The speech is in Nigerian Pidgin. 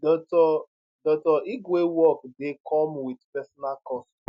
dr dr igwe work dey come wit personal cost